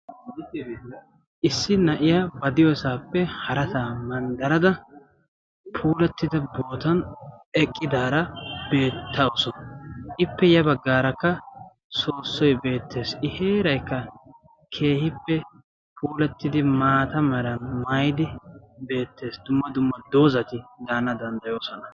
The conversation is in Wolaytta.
Issi na"iyaa ba diyoosaappe harasaa manddarada puulattida bootan eqqidaara beettawusu. Ippe ya baggaarakka soossoy beettees. I heeraykka keehippe puulattidi maata meraa maayidi beettes. Dumma dumma doozzati daana danddayoosona.